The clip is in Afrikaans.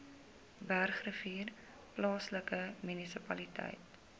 bergrivier plaaslike munisipaliteit